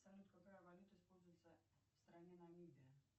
салют какая валюта используется в стране намибия